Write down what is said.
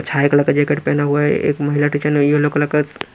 छाई कलर का जैकेट पहना हुआ है एक महिला टीचर ने यलो कलर का--